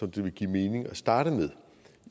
det vil give mening at starte med